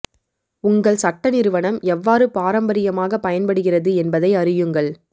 உங்கள் சட்ட நிறுவனம் எவ்வாறு பாரம்பரியமாகப் பயன் படுகிறது என்பதை அறியுங்கள்